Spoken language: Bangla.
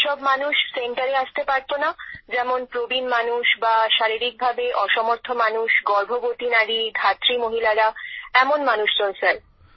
যে সব মানুষ সেন্টারে আসতে পারত না যেমন প্রবীণ মানুষ বা শারীরিকভাবে অসমর্থ মানুষ গর্ভবতী নারী ধাত্রী মহিলারা এমন মানুষজন স্যার